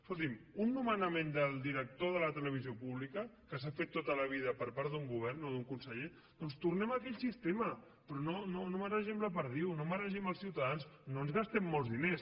escolti’m un nomenament del director de la televisió pública que s’ha fet tota la vida per part d’un govern o d’un conseller doncs tornem a aquell sistema però no maregem la perdiu no maregem els ciutadans no ens gastem molts diners